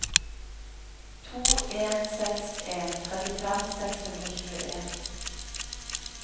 to en seks en trettifem seks hundre og tjueen